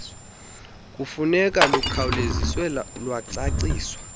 funeka lukhawuleziswe lwacaciswa